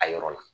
A yɔrɔ la